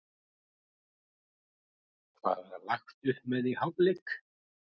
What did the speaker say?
Hvað var lagt upp með í hálfleik?